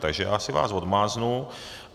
Takže já si vás odmáznu.